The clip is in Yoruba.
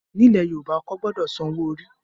Ní ilẹ̀ Yorùbá, ọkọ gbọdọ san owó orí.